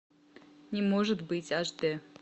не может быть аш д